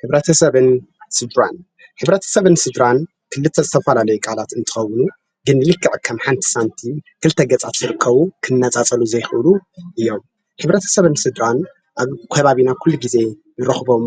"ሕብረተሰብን ስድራን" ሕብረተሰብን ስድራን ክልተ ዝተፈላለዩ ቃላት እንትኾኑ ግን ልክዕ ከምሓንቲ ሳንቲም ክልተ ገፃት ዝርከቡ ክነፃፀሉ ዘይኽእሉ እዮም። ሕብረተሰብን ስድራን ኣብ ከባቢና ኩሉ ግዜ ንረኽቦም